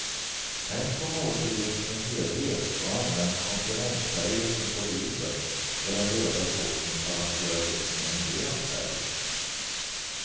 Tänk på måltiden som helhet och använd komplementfärger som på bilden, där den röda såsen balanseras upp med en grön färg.